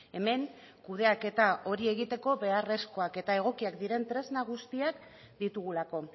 hemen kudeaketa hori egiteko beharrezkoak eta egokiak diren tresna guztiek ditugulako